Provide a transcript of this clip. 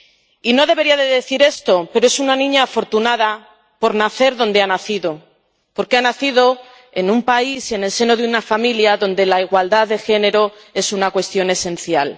Y no debería decir esto, pero es una niña afortunada por nacer donde ha nacido, porque ha nacido en un país, en el seno de una familia donde la igualdad de género es una cuestión esencial.